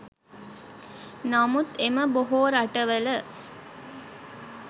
නමුත් එම බොහෝ රටවල